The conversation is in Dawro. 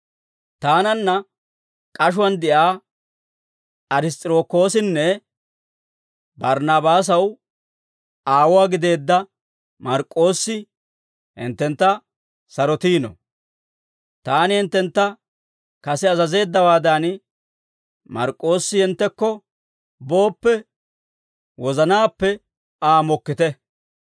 Taananna k'ashuwaan de'iyaa Ariss's'irokoosinne Barnnaabaasaw aawuwaa gideedda Mark'k'oossi hinttentta sarotiino; taani hinttentta kase azazeeddawaadan, Mark'k'oossi hinttekko booppe, wozanaappe Aa mokkite.